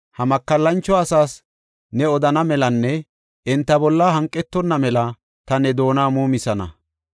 Ha makallancho asaas ne odonna melanne enta bolla hanqetonna mela ta ne doona muumisana.